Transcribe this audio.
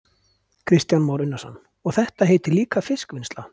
Kristján Már Unnarsson: Og þetta heitir líka fiskvinnsla?